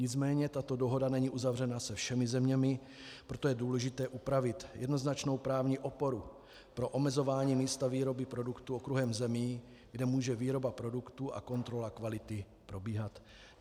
Nicméně tato dohoda není uzavřena se všemi zeměmi, proto je důležité upravit jednoznačnou právní oporu pro omezování místa výroby produktu okruhem zemí, kde může výroba produktu a kontrola kvality probíhat.